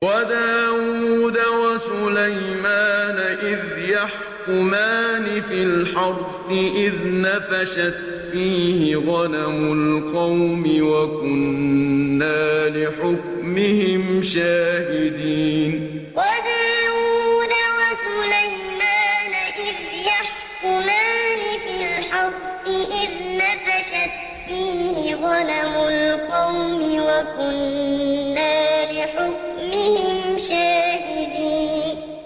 وَدَاوُودَ وَسُلَيْمَانَ إِذْ يَحْكُمَانِ فِي الْحَرْثِ إِذْ نَفَشَتْ فِيهِ غَنَمُ الْقَوْمِ وَكُنَّا لِحُكْمِهِمْ شَاهِدِينَ وَدَاوُودَ وَسُلَيْمَانَ إِذْ يَحْكُمَانِ فِي الْحَرْثِ إِذْ نَفَشَتْ فِيهِ غَنَمُ الْقَوْمِ وَكُنَّا لِحُكْمِهِمْ شَاهِدِينَ